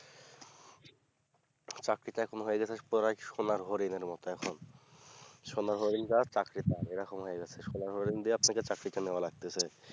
চাকরি টা এখন হয়েগেছে প্রায় সোনার হরিণ এর মতো এখন সোনার হরিণ যার চাকরি তার এরকম হয়েগেছে সোনার হরিণ দিয়ে আপনাকে এখন চাকরিটা নেয়া লাগতেছে